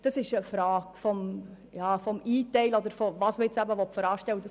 Die Frage ist, wie man einteilt und was man voranstellen will.